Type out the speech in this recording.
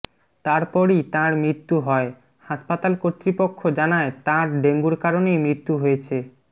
তারপরই তাঁর মৃত্যু হয় হাসপাতাল কর্তৃপক্ষ জানায় তাঁর ডেঙ্গুর কারণেই মৃত্যু হয়েছে